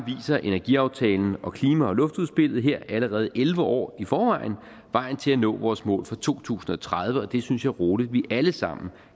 energiaftalen og klima og luftudspillet her allerede elleve år i forvejen vejen til at nå vores mål for to tusind og tredive og det synes jeg rolig vi alle sammen